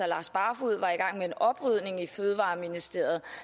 lars barfoed var i gang med en oprydning i fødevareministeriet